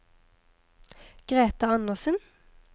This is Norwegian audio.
Greta Anderssen